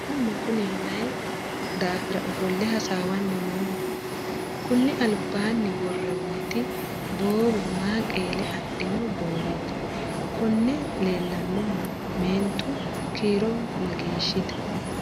mannu kuni mayii daafira ofo'le hasaawanni nooho? kuni albaanni worroonniti boowe maa qeele adhino booweeti? konne leellanohu meentu kiiro mageeshshite?